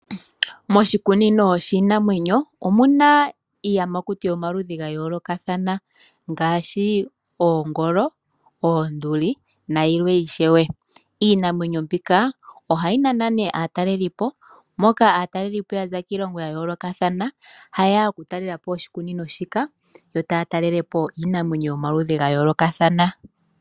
Moshikunino shiinamwenyo omuna iiyamakuti yo maludhi ga yoolokathana, ngaashi oongolo, oonduli na yilwe ishewe. Iinamwenyo mbika ohayi nana nee aatalelipo, moka aatalelipo yaza kiilongo ya yoolokathana ha yeya oku talelapo oshikunino shika. Yo taya talelepo iinamwenyo yo maludhi ga yoolokathana.